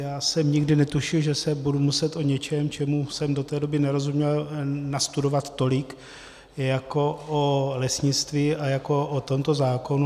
Já jsem nikdy netušil, že si budu muset o něčem, čemu jsem do té doby nerozuměl, nastudovat tolik jako o lesnictví a jako o tomto zákonu.